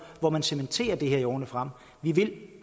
hvor man cementerer det her i årene frem vi vil have